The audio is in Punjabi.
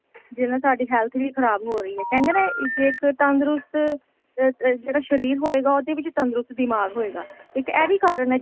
ਜਿਹਦੇ ਨਾਲ ਸਾਡੀ health ਵੀ ਖਰਾਬ ਹੋ ਰਹੀ ਹੈ ਕਹਿੰਦੇ ਨੇ ਜੇ ਇੱਕ ਤੰਦਰੁਸਤ ਆ ਜਿਹੜਾ ਸ਼ਰੀਰ ਹੋਏਗਾ ਉਹਦੇ ਵਿੱਚ ਤੰਦਰੁਸਤ ਦਿਮਾਗ ਹੋਏਗਾ ਇੱਕ ਇਹ ਵੀ ਕਾਰਨ ਏ